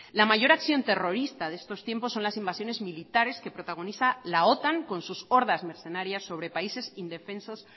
la mayor acción terrorista de estos tiempos son las invasiones militares que protagoniza la otan con sus hordas mercenarias sobre países indefensos